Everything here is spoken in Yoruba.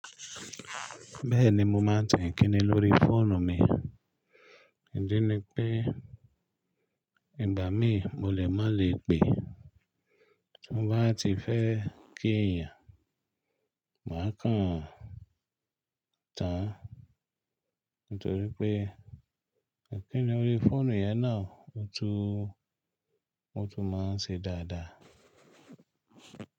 Bẹ́ẹ̀ni mo máa ń tẹ̀ kíni lórí fóònù mi, ìdí ni pé ìgbà mìn mo lè má le pè, tí mo bá ti fẹ́ kí èèyàn, màá kàn án tàn nítorí pé Ìkíni órí fóònù yẹn náà ó tún, ó tún máa ń ṣe dáadáa.